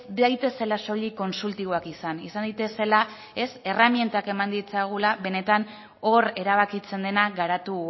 daitezela soilik kontsultiboak izan izan daitezela erremintak eman ditzagula benetan hor erabakitzen dena garatu